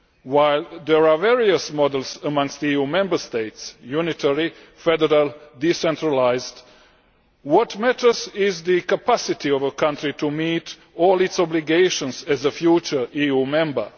While there are various models amongst EU Member States unitary, federal, decentralised what matters is the capacity of a country to meet all its obligations as a future EU member.